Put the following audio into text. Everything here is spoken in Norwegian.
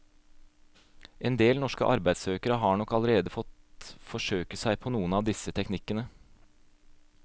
En del norske arbeidssøkere har nok allerede fått forsøke seg på noen av disse teknikkene.